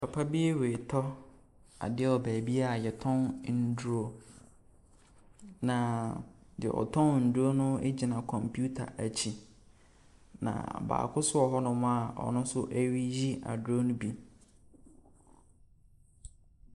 Papa bi retɔ adeɛ wɔ baabi a wɔtɔn nnuro, na deɛ ɔtɔn nnuro no gyina kɔmputa akyi, na baako nso wɔ hɔnom a ɔno nso reyi aduro no bi.